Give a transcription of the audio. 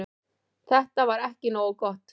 Þetta var ekki nógu gott.